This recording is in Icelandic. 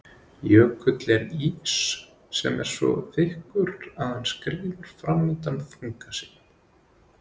Jökull er ís sem er svo þykkur að hann skríður fram undan þunga sínum.